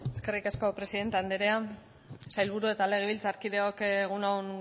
eskerrik asko presidente anderea sailburu eta legebiltzarkideok egun on